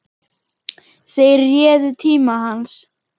Þeir réðu tíma hans.